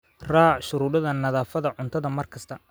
Raac shuruucda nadaafadda cuntada mar kasta.